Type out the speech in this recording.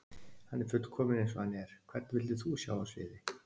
Hann er fullkominn eins og hann er Hvern vildir þú sjá á sviði?